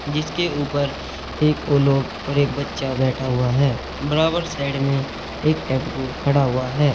जिसके ऊपर एक और लोग और एक बच्चा बैठा हुआ है बराबर साइड में एक टेंपू खड़ा हुआ है